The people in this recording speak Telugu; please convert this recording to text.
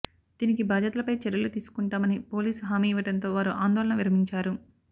దీనికి బాధ్యులపై చర్యలు తీసుకుంటామని పోలీసులు హామీ ఇవ్వడంతో వారు ఆందోళన విరమించారు